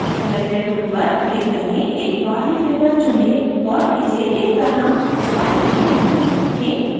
selector tool पर click करें एक warli figure चुनें और इसे इस तरह spiral के मध्य में रखें